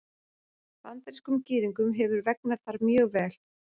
Bandarískum Gyðingum hefur vegnað þar mjög vel.